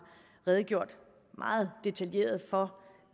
redegjort meget detaljeret for